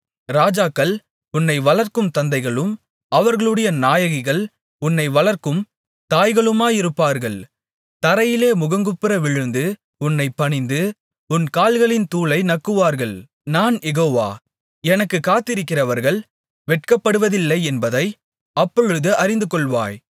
ராஜாக்கள் உன்னை வளர்க்கும் தந்தைகளும் அவர்களுடைய நாயகிகள் உன் வளர்க்கும் தாய்களுமாயிருப்பார்கள் தரையிலே முகங்குப்புறவிழுந்து உன்னைப் பணிந்து உன் கால்களின் தூளை நக்குவார்கள் நான் யெகோவா எனக்குக் காத்திருக்கிறவர்கள் வெட்கப்படுவதில்லை என்பதை அப்பொழுது அறிந்துகொள்வாய்